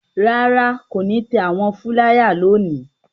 Rárá, kò ní tẹ àwọn fúláyà lónìí.